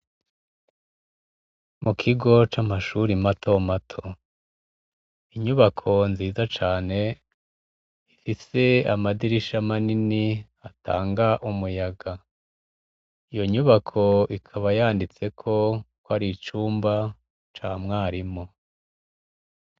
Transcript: mu kigo c'amashuri mato mato inyubako nziza cane ifise amadirisha manini atanga umuyaga iyo nyubako ikaba yanditseko ko ari icumba ca mwarimu